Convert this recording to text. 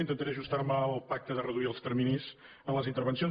intentaré ajustar me al pacte de reduir els terminis en les intervencions